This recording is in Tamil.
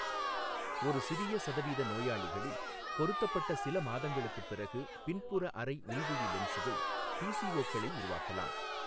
ஒரு சிறிய சதவீத நோயாளிகளில், பொருத்தப்பட்ட சில மாதங்களுக்குப் பிறகு பின்புற அறை உள்விழி லென்ஸ்கள் பிசிஓக்களை உருவாக்கலாம்.